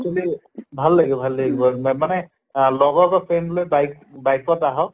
actually ভাল লাগে ভাল লাগে গʼল মে মানে লগৰ বা friend লৈ bike bike ত আহক